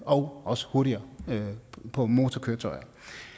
og også hurtigere på motorkøretøjer